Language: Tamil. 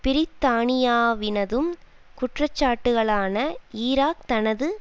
பிரித்தானியாவினதும் குற்றச்சாட்டுகளான ஈராக் தனது